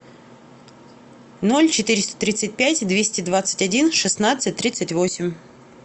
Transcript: ноль четыреста тридцать пять двести двадцать один шестнадцать тридцать восемь